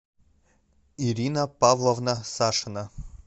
ирина павловна сашина